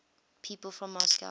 people from moscow